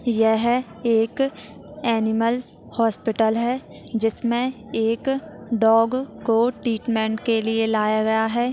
यह एक animals hospital है जिसमे एक डॉग को ट्रीटमेंट के लिए लाया गया है।